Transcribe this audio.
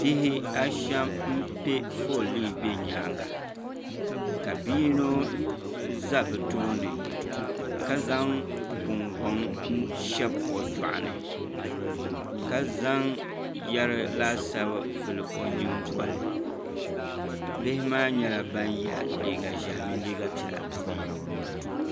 Bihi ashɛm n pɛ foolii ʒɛ nyaanga ka bia yinɔ ʒɛ bi tooni ka zaŋ gungoŋ n shɛbi o juɣani ka zaŋ yɛri laasabu vuli o nyingoli bihi maa nyɛla ban yɛ liiga ʒiɛhi mini liiga piɛla